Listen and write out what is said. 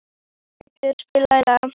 Gautur, spilaðu lag.